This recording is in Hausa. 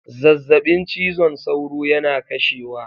Zazzabin cizon sauro yana kashewa